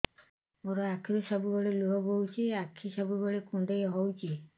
ମୋର ଆଖିରୁ ସବୁବେଳେ ଲୁହ ବୋହୁଛି ଆଖି ସବୁବେଳେ କୁଣ୍ଡେଇ ହଉଚି